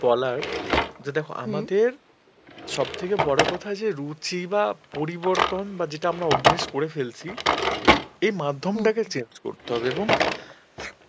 বলার যে দেখো আমাদের সব থেকে বড় কথা যে রুচি বা পরিবর্তন বা যেটা আমরা অভ্যেস করে ফেলেছি এই মাধ্যমটাকে change করতে হবে এবং